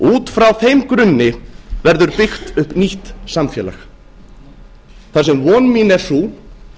út frá þeim grunni verður byggt upp nýtt samfélag þar sem von mín er sú